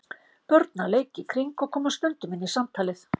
Börn að leik í kring og koma stundum inn í samtalið.